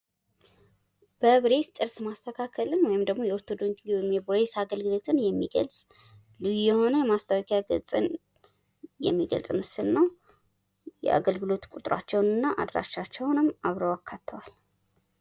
በብሬስ ጥርስ ማስተካከልን የሚገልጽ ልዩ የሆነ የማስታወቂያ ገጽን የሚገልጽ ምስል ነው ፤ የአገልግሎት ቁጥራቸውን እና በአድራሻቸውንም አብረዉ አካተዋል።